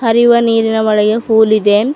River ನೀರಿನ ಒಳಗೆ pool ಇದೆ.